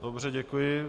Dobře, děkuji.